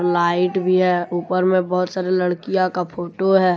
Light भी है ऊपर में बहुत सारी लड़कियां का फोटो है।